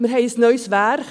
Wir haben ein neues Werk.